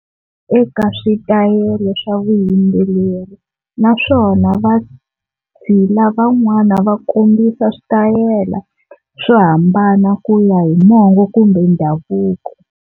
Eka switayele swa vuyimbeleri naswona vatshila van'wana va kombisa switayele swo hambana ku ya hi mongo kumbe ndhavuko.